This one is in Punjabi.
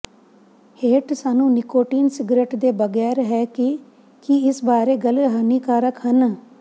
ਹੇਠ ਸਾਨੂੰ ਨਿਕੋਟੀਨ ਸਿਗਰਟ ਦੇ ਬਗੈਰ ਹੈ ਕਿ ਕੀ ਇਸ ਬਾਰੇ ਗੱਲ ਹਾਨੀਕਾਰਕ ਹਨ